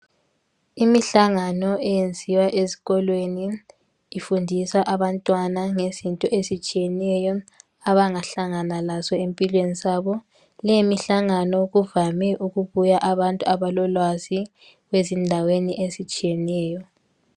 Imihlangano eyenziwa ezikoIweni. Ifundisa abantwana ngezinto ezitshiyeneyo, abangahlangana lazo empilweni zabo. Lemihlangano kuvame ukubuya abantu abalolwazi, ezindaweni ezitshiyeneyo.